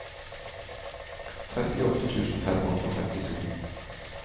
trettiåtte tusen fem hundre og femtito